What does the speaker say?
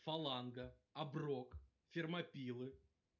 фаланга оброк фермопилы